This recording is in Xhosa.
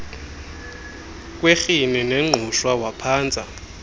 kwerhini nengqushwa waphantsa